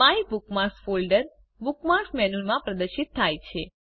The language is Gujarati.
માયબુકમાર્ક્સ ફોલ્ડર બુકમાર્ક્સ મેનુમાં પ્રદર્શિત થાય છે